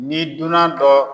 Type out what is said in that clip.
Ni dunan dɔ